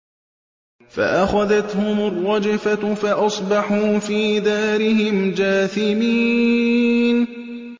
فَأَخَذَتْهُمُ الرَّجْفَةُ فَأَصْبَحُوا فِي دَارِهِمْ جَاثِمِينَ